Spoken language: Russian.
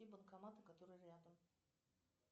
и банкомат которые рядом